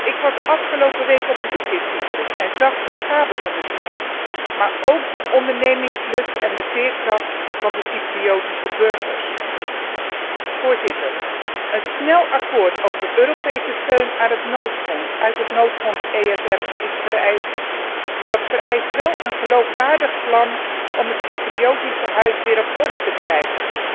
Ik was afgelopen week op bezoek in Cyprus en zag de schade van de crisis, maar ook de ondernemingslust en de veerkracht van de Cypriotische burgers. Voorzitter, een snel akkoord over Europese steun uit het noodfonds ESM is vereist, maar dat vereist wel een geloofwaardig plan om het Cypriotische huis weer op orde te krijgen,